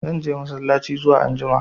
Zan je massalaci zuwa anjima.